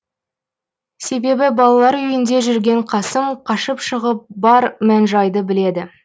себебі балалар үйінде жүрген қасым қашып шығып бар мән жайды біледі